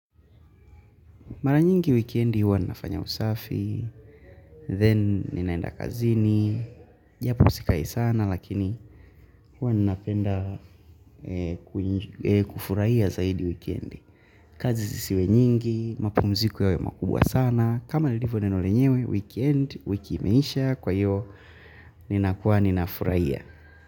Mara nyingi wikendi huwa ninafanya usafi, then ninaenda kazini, japo sikai sana lakini huwa ninapenda kufurahia zaidi wikiendi. Kazi zisiwe nyingi, mapumziku yawe makubwa sana, kama lilivyo neno lenyewe, wikendi, wiki imeisha, kwa hiyo ninafuraia.